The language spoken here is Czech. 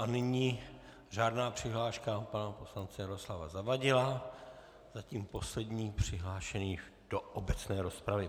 A nyní řádná přihláška pana poslance Jaroslava Zavadila, zatím poslední přihlášený do obecné rozpravy.